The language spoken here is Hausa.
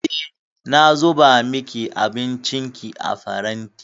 Eh, na zuba miki abincinki a faranti.